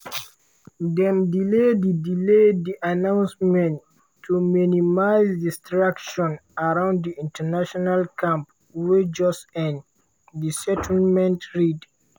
"dem delay di delay di announcement to minimise distraction around di international camp wey just end" di statement read.